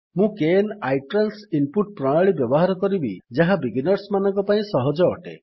ମୁଁ kn iTrans input ପ୍ରଣାଳୀ ବ୍ୟବହାର କରିବି ଯାହା ବିଗିନର୍ସମାନଙ୍କ ପାଇଁ ସହଜ ଅଟେ